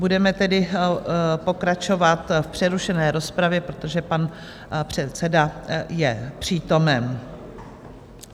Budeme tedy pokračovat v přerušené rozpravě, protože pan předseda je přítomen.